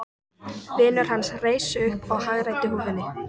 Vinur hans reis upp og hagræddi húfunni.